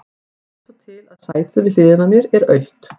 Það vill svo til að sætið við hliðina á mér er autt.